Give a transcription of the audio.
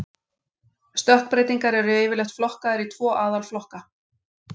Stökkbreytingar eru yfirleitt flokkaðar í tvo aðalflokka.